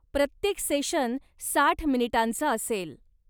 प्रत्येक सेशन साठ मिनिटांचं असेल.